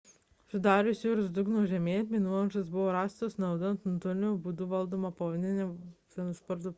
sudarius jūros dugno žemėlapį nuolaužos buvo rastos naudojant nuotoliniu būdu valdomą povandeninę transporto priemonę